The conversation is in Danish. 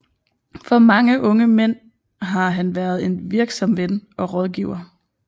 For mange unge mænd har han været en virksom ven og rådgiver